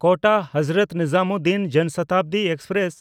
ᱠᱳᱴᱟ–ᱦᱚᱡᱨᱚᱛ ᱱᱤᱡᱟᱢᱩᱫᱽᱫᱤᱱ ᱡᱚᱱ ᱥᱚᱛᱟᱵᱫᱤ ᱮᱠᱥᱯᱨᱮᱥ